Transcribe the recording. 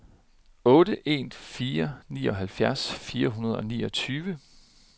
otte en fire ni halvfjerds fire hundrede og niogtyve